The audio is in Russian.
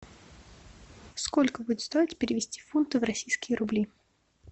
сколько будет стоить перевести фунты в российские рубли